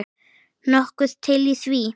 Nokkuð til í því.